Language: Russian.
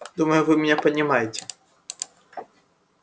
думаю вы меня понимаете